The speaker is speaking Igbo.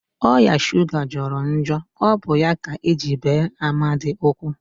Oya shuga jọrọ njọ, ọ bụ ya ka eji bee Amadi ụkwụ